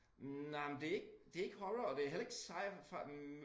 Hm nej men det ikke det ikke horror og det heller ikke sci-fi hm